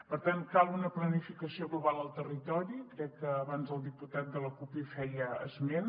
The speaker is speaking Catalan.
per tant cal una planificació global al territori crec que abans el diputat de la cup en feia esment